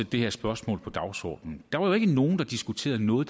det her spørgsmål på dagsordenen der var jo ikke nogen der diskuterede noget